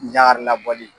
Jaka labɔli